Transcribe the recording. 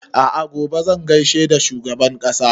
A'a gobe zan gaishe da shugaban ƙasa